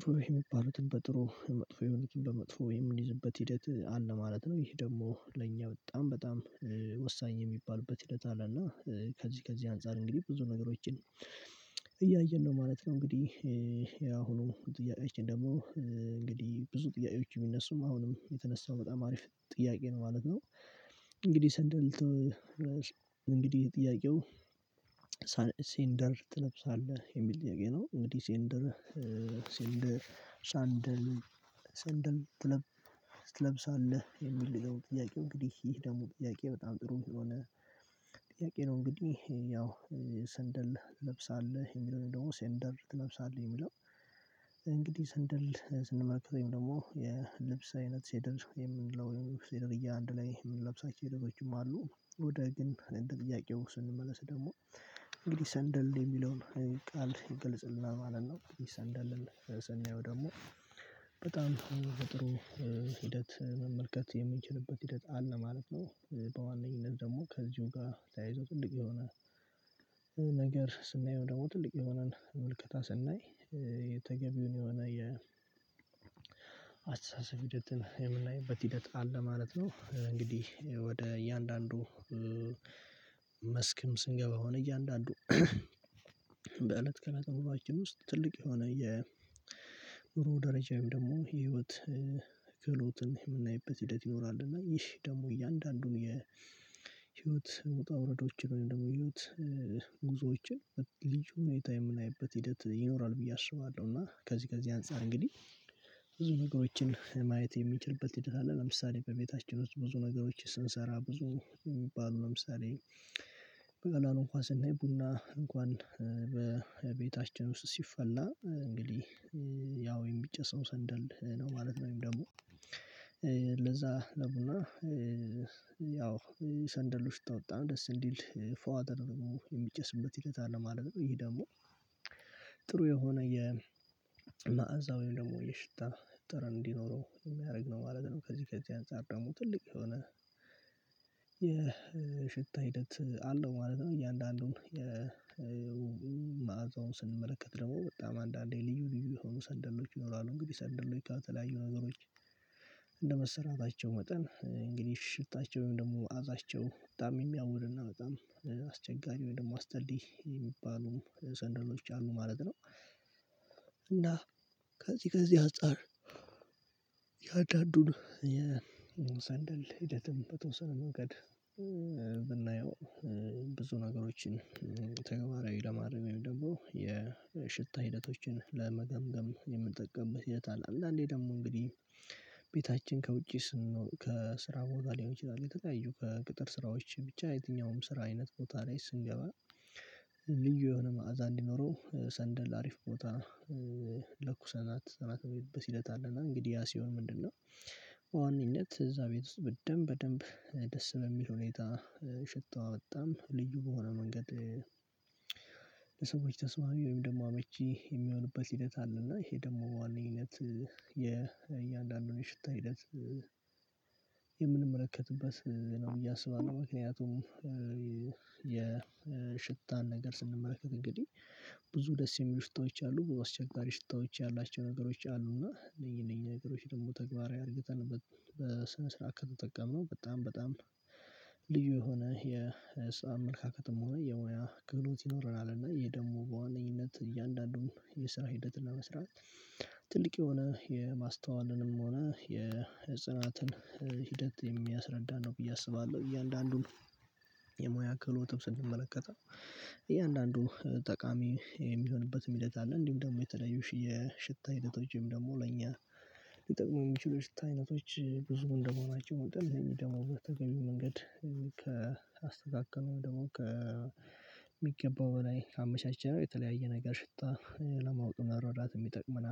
ጥሩ የሚባሉትን በጥሩ መጥፎ የመኪን በመጥፎ የምንይዝበት ሂደት አለ ማለት ነው። ይሄ ደግሞ ለእኛ በጣም በጣም ወሳኝ የሚባሉበት ሂደት አለና ከዚህ ከዚህ አንፃር እንግዲህ ብዙ ነገሮችን እያየን ነው ማለት ነው። እንግዲህ ያሁኑ ጥያቄዎችን ደግሞ እንግዲህ ብዙ ጥያቄዎች የሚነሱም አሁንም የተነሳው በጣም አሪፍ ጥያቄ ነው ማለት ነው። እንግዲህ ሰንደል እንግዲህ ጥያቄው ሴንደር ትለብሳለህ የሚል ጥያቄ ነው። እንግዲህ ሴንደር ሴንደር ሳንደል ሳንደል ትለብሳለህ የሚል ጥያቄው እንግዲህ ይሄ ደግሞ ጥያቄ በጣም ጥሩ የሆነ። ጥያቄ ነው እንግዲህ ያው ሰንደል ትለብሳለህ የሚለውን ደግሞ ሴንደር ትለብሳለህ የሚለው እንግዲህ ሴንደር ስንመለከተኝ ደግሞ የልብስ አይነት ሴደር የምንለው ሴደር እያንዳንዱ ላይ የምንለብሳቸው ሄደዎችም አሉ። ወደ ግን እንደ ጥያቄው ስንመለስ ደግሞ እንግዲህ ሰንደል የሚለውን ቃል ግልጽልና ማለት ነው። እንግዲህ ሰንደል ደግሞ በጣም በጥሩ ሂደት መመልከት የምንችልበት ሂደት አለ ማለት ነው። በዋነኝነት ደግሞ ከዚሁ ጋር ተያይዞ ጥልቅ የሆነ ነገር ስናየው ደግሞ ትልቅ የሆነን ምልክታ ስናይ የተገቢውን የሆነ የ አስተሳሰብ ሂደትን የምናይበት ሂደት አለ ማለት ነው። እንግዲህ ወደ እያንዳንዱ መስክም ስንገባ የሆነ እያንዳንዱ በእለት ከእለት ኑሯችን ውስጥ ትልቅ የሆነ የብሩህ ደረጃዬም ደግሞ የህይወት ክህሎትን የምናይበት ሂደት ይኖራል። እና ይህ ደግሞ እያንዳንዱን የህይወት ውጣ ውረዶችን ወይም ደግሞ የህይወት ጉዞዎችን ልጅ ሁኔታ የምናይበት ሂደት ይኖራል ብዬ አስባለሁ። እና ከዚህ ከዚህ አንፃር እንግዲህ ብዙ ነገሮችን ማየት የምንችልበት ሂደት አለ። ለምሳሌ በቤታችን ውስጥ ብዙ ነገሮች ስንሰራ ብዙ የሚባሉ ለምሳሌ በቀላሉ እንኳን ስናይ ቡና እንኳን በቤታችን ውስጥ ሲፈላ እንግዲህ ያው የሚጨሰው ሰንደል ነው ማለት ነው። ወይም ደግሞ ለዛ ለምና ያው ሰንደሎች ተወጣ ደስ እንዲል ፎአደር ደግሞ የሚጨስበት ሂደት አለ ማለት ነው። ይሄ ደግሞ የሆነ መዓዛው ደግሞ የሽታ ጥር እንዲኖረው የሚያደርግ ነው ማለት ነው። ከዚህ ከዚህ አንፃር ደግሞ ትልቅ የሆነ የሽታ ሂደት አለው ማለት ነው። እያንዳንዱን የመአዛውን ስንመለከት ደግሞ በጣም አንዳንዴ ልዩ ልዩ የሆኑ ሰንደሎች ይኖራሉ። እንግዲህ ሰንደሎች የተለያዩ ነገሮች እንደ መሰራታቸው መጠን እንግዲህ ሽታቸው ወይም ደግሞ መዓዛቸው በጣም የሚያውርና በጣም አስቸጋሪ ወይም ደግሞ አስጠሊ የሚባሉ ሰንደሮች አሉ ማለት ነው። እና ከዚህ ከዚህ አጻር እያንዳንዱን የሰንደል ሂደትም በተወሰነ መንገድ ብናየው ብዙ ነገሮችን ተገቢ ለማረም ደግሞ የሽታ ሂደቶችን ለመገምገም የምንጠቀምበት የት አለ። አንዳንዴ ደግሞ እንግዲህ ቤታችን ከውጪ ስንሆን ከስራ ቦታ ሊሆን ይችላል። የተለያዩ ከቅጥር ስራዎች ብቻ የትኛውም ስራ አይነት ቦታ ላይ ስንገባ ልዩ የሆነ መዓዛ እንዲኖረው ሰንደል አሪፍ ቦታ ለኩሰናት በሲለት አለና እንግዲህ ያ ሲሆን ምንድነው? እዛ ቤት ውስጥ በደንብ በደንብ ደስ በሚል ሁኔታ ሽታው አወጣም ልዩ በሆነ መንገድ ለሰዎች ተስማሚ ወይም ደግሞ አመቺ የሚሆንበት ሂደት አለ። እና ይሄ ደግሞ በዋናኛነት አንድ የእያንዳንዱን የሽታ ሂደት የምንመለከትበት ነው። እያሰባን ምክንያቱም የሽታን ነገር ስንመረከት እንግዲህ ብዙ ደስ የሚሉ ሽታዎች አሉ። አስቸጋሪ ሽታዎች ያላቸው ነገሮች አሉ። እና እነዚህ እነዚህ ነገሮች ደግሞ ተግባራዊ አድርገን በስነ ስርዓት ከተጠቀምነው በጣም በጣም ልዩ የሆነ የሳንደም መልካከትም ሆነ የሙያ ክሎት ይኖረናል። እና የደግሞ በዋነኝነት እያንዳንዱን የስራ ሂደት ለመስራት ትልቅ የሆነ የማስተዋልንም ሆነ የጽናትን ሂደት የሚያስረዳን ነው ብዬ አስባለሁ። እያንዳንዱን የሙያ ክፍል ወጥተን ስንመለከተው እያንዳንዱን ጠቃሚ የሚሆንበት መሄድ ሂደት አለ። እንዲሁም ደግሞ የተለያዩ ሽታ ሂደቶችም ደግሞ ለኛ ሊጠቅመው የሚችሉ ሽታ አይነቶች ብዙ እንደመሆናቸው መጠን እነዚህ ደግሞ በተገቢው መንገድ ከአስተካከመው ደግሞ ከሚገባው በላይ ካመቻቸነው የተለያየ ነገር ሽታ ለማውጣት ይጠቅመናል